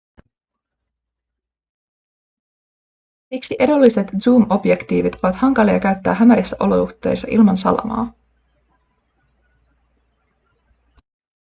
siksi edulliset zoom-objektiivit ovat hankalia käyttää hämärissä olosuhteissa ilman salamaa